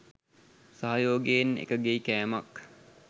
සහයෝගයෙන් එකගෙයි කෑමක්